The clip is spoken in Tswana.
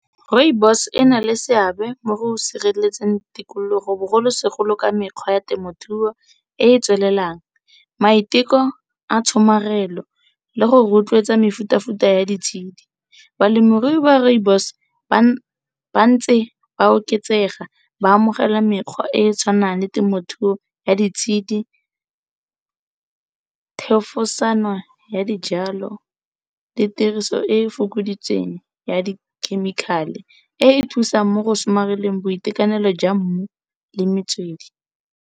Rooibos ena le seabe mo go sireletseng tikologo, bogolosegolo ka mekgwa ya temothuo e e tswelelang. Maiteko a tshomarelo le go rotloetsa mefuta ya di tshedi. Balemirui ba rooibos bantse ba oketsega ba amogela mekgwa e e tshwanang le temothuo ya di tshedi, thefesano ya dijalo le tiriso e e fokoditsweng ya di chemical-e, e e thusang mo go somareleng boitekanelo jwa mmu le metswedi.